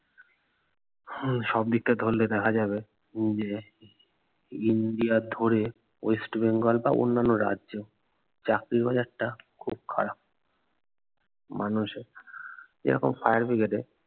হম সব দিকটা ধরলে দেখা যাবে যে ইন্ডিয়া ধরে ওয়েস্ট বেঙ্গল বা অন্যান্য রাজ্যেও চাকরির বাজারটা খুব খারাপ মানুষের যেরকম fire brigade এ